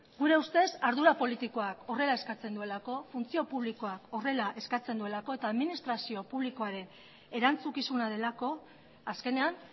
gure ustez ardura politikoak horrela eskatzen duelako funtzio publikoak horrela eskatzen duelako eta administrazio publikoaren erantzukizuna delako azkenean